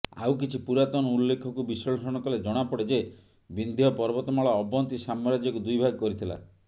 ଆଉ କିଛି ପୁରାତନ ଉଲ୍ଲେଖକୁ ବିଶ୍ଳେଷଣ କଲେ ଜଣାପଡ଼େ ଯେ ବିନ୍ଧ୍ୟ ପର୍ବତମାଳା ଅବନ୍ତୀ ସାମ୍ରାଜ୍ୟକୁ ଦୁଇଭାଗ କରିଥିଲା